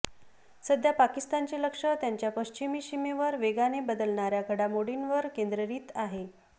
सध्या पाकिस्तानचे लक्ष त्यांच्या पश्चिमी सीमेवर वेगाने बदलणाऱ्या घडामोडींवर केंद्र्रित आहे